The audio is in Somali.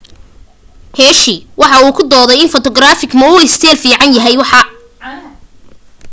hsieh waxa uu ku doode in photogenic ma uu ka isteel fiican yahay waxa